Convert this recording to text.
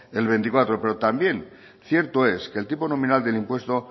el veinticuatro pero también cierto es que el tipo nominal del impuesto